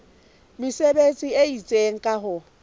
mesebetsi e itseng ka ho